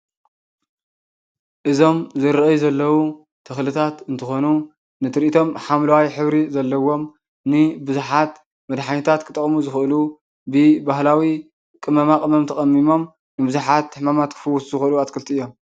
እዞም ዝረአዩ ዘለዉ ተኽልታት እንትኾኑ ንትርኢቶም ሓምለዋይ ሕብሪ ዘለዎም ንቡዙሓት መድሓኒታት ክጥቅሙ ዝኽእሉ ብባህላዊ ቅመማቅመም ተቐሚሞም ንቡዙሓት ሕማማት ክፍዉሱ ዝኽእሉ ኣትክልቲ እዮም፡፡